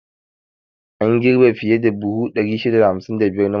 An girbi fiye da buhu 655 na masara.